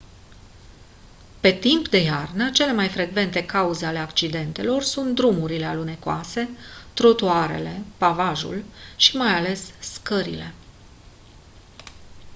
pe timp de iarnă cele mai frecvente cauze ale accidentelor sunt drumurile alunecoase trotuarele pavajul și mai ales scările